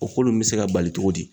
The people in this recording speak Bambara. O ko lun bɛ se ka bali cogo di?